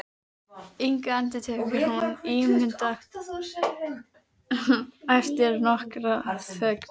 Inga, endurtekur hún íhugandi eftir nokkra þögn.